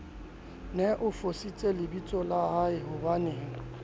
ne a futsitse lebitsola haehobanee